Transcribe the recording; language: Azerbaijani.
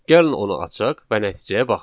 Gəlin onu açaq və nəticəyə baxaq.